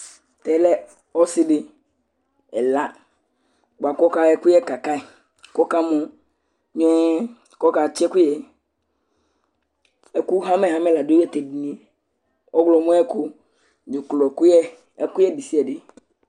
tɛ lɛ ɔsi di ɛla bʋa ku ɔka yɔ ɛkuyɛ kaka yi , ku ɔka mɔ miɛɛ, ku ɔka tsi ɛkuyɛ, ɛku hamɛ hamɛ la du ta tu edinie, ɔwlɔmɔ ayu ɛku, dzuklɔ kuyɛ, ɛkuyɛ ɖesiaɖe